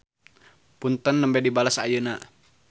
Punten nembe dibales ayeuna.